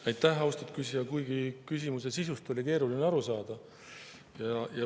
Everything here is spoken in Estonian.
Aitäh, austatud küsija, kuigi küsimuse sisust oli keeruline aru saada.